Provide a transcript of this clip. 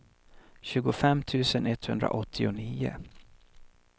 tjugofem tusen etthundraåttionio